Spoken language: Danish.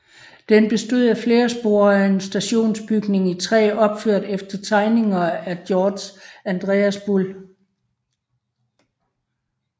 Den bestod af flere spor og en stationsbygning i træ opført efter tegninger af Georg Andreas Bull